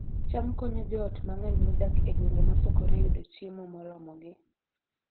cham konyo joot mang'eny modak e gwenge mosokore yudo chiemo moromogi